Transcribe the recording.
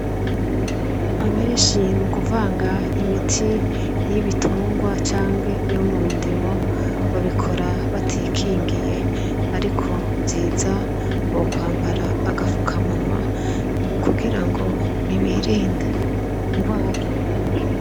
Abenshi mu kuvanga imiti y'ibitungwa canke iyo mu ndimo babikora batikingiye, ariko vyiza bokwambara agafukamunwa kugira ngo birinde ingwara.